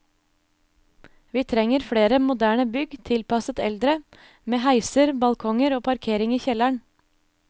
Vi trenger flere moderne bygg tilpasset eldre, med heiser, balkonger og parkering i kjelleren.